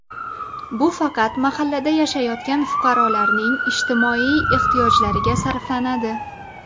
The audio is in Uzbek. Bu faqat mahallada yashayotgan fuqarolarning ijtimoiy ehtiyojlariga sarflanadi.